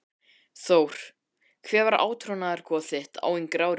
Þór Hver var átrúnaðargoð þitt á yngri árum?